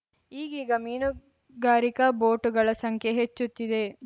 ಈಗೀಗ ಮೀನುಗಾರಿಕಾ ಬೋಟುಗಳ ಸಂಖ್ಯೆ ಹೆಚ್ಚುತ್ತಿದೆ